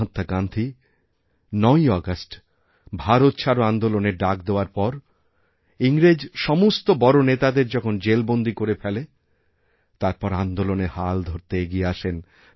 মহাত্মাগান্ধী ৯ই আগস্ট ভারত ছাড়ো আন্দোলনের ডাক দেওয়ার পর ইংরেজ সমস্ত বড় নেতাদের যখনজেলবন্দী করে ফেলে তারপর আন্দোলনের হাল ধরতে এগিয়ে আসেন